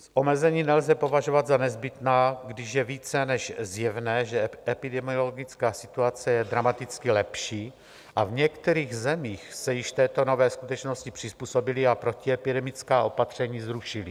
Omezení nelze považovat za nezbytná, když je více než zjevné, že epidemiologická situace je dramaticky lepší, a v některých zemích se již této nové skutečnosti přizpůsobili a protiepidemická opatření zrušili.